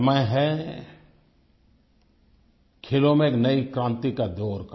समय है खेलों में एक नई क्रांति का दौर का